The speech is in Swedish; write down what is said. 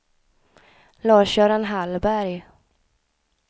Lars-Göran Hallberg